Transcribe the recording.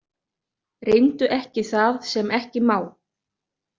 Reyndu ekki það sem ekki má.